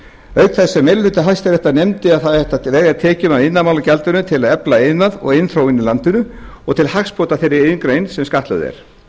þess sem meiri hluti hæstaréttar nefndi að það ætti að verja tekjum af iðnaðarmálagjaldi til að efla iðnað og iðnþróun í landinu og til hagsbóta þeirri iðngrein sem skattlögð er